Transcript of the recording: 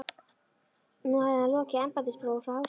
Nú hefði hann lokið embættisprófi frá Háskóla